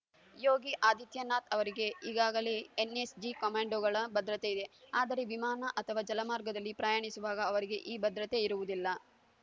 ಯೋಗಿ ಆದಿತ್ಯನಾಥ್‌ ಅವರಿಗೆ ಈಗಾಗಲೇ ಎನ್‌ಎಸ್‌ಜಿ ಕಮಾಂಡೋಗಳ ಭದ್ರತೆ ಇದೆ ಆದರೆ ವಿಮಾನ ಅಥವಾ ಜಲಮಾರ್ಗದಲ್ಲಿ ಪ್ರಯಾಣಿಸುವಾಗ ಅವರಿಗೆ ಈ ಭದ್ರತೆ ಇರುವುದಿಲ್ಲ